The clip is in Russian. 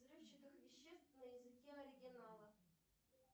взрывчатых веществ на языке оригинала